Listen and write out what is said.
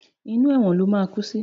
Inú ẹ̀wọ̀n ló máa kú sí!